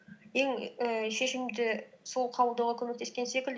ең ііі шешімді сол қабылдауға көмектескен секілді